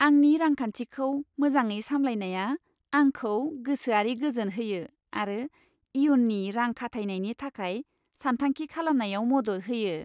आंनि रांखान्थिखौ मोजाङै सामलायनाया आंखौ गोसोआरि गोजोन होयो आरो इयुननि रां खाथायनायनि थाखाय सान्थांखि खालामनायाव मदद होयो।